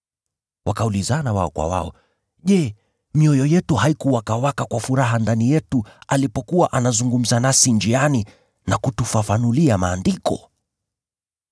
Wakaulizana wao kwa wao, “Je, mioyo yetu haikuwakawaka kwa furaha ndani yetu alipokuwa anazungumza nasi njiani na kutufafanulia Maandiko?”